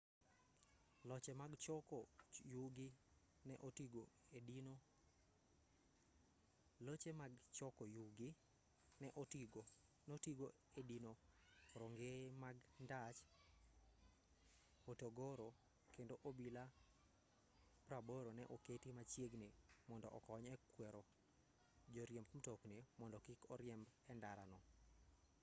loche mag choko yugi ne otigo e dino rongeye mag ndach hotogoro kendo obila 80 ne oketi machiegni mondo okony e kwero joriemb mtokni mondo kik oriembi e ndara no